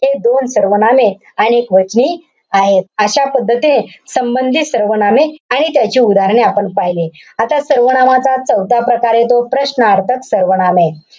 हे दोन सर्वनामे अनेकवचनी आहेत. अशा पद्धतीने संबंधी सर्वनामे आणि त्याची उदाहरणे आपण पहिली. आता सर्वनामाचा चौथा प्रकार येतो, प्रश्नार्थक सर्वनामे.